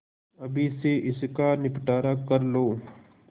अभी से इसका निपटारा कर लो